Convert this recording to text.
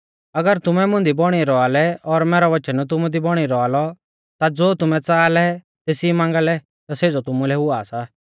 अगर तुमै मुंदी बौणी रौआ लै और मैरौ वचन तुमु दी बौणी रौआ लौ ता ज़ो तुमै च़ाहा लै तेसी मांगा लै ता सेज़ौ तुमुलै हुआ सा